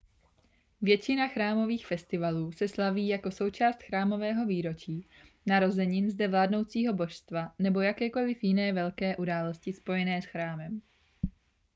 většina chrámových festivalů se slaví jako součást chrámového výročí narozenin zde vládnoucího božstva nebo jakékoliv jiné velké události spojené s chrámem